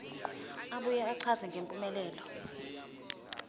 abuye achaze ngempumelelo